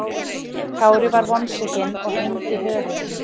Kári var vonsvikinn og hengdi höfuð.